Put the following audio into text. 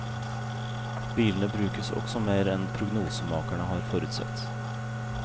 Bilene brukes også mer enn prognosemakerne har forutsett.